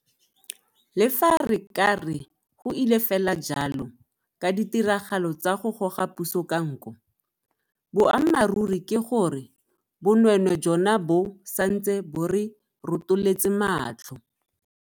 Le fa re ka re go ile fela jalo ka ditiragalo tsa go goga puso ka nko, boammaruri ke gore bonweenwee jona bo santse bo re rotoletse matlho.